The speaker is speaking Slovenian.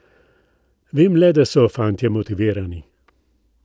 Vem le, da so fantje motivirani.